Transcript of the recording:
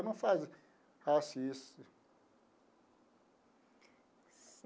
Eu não faço isso.